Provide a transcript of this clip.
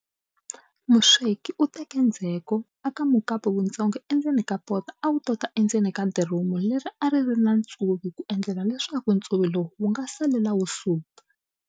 Musweki u teka ndzheko a ka mukapu wutsongo endzeni ka poto a wu tota endzeni ka diromu leri a ri ri na ntsuvi ku endlela leswaku ntsuvi lowu nga salela wu suka.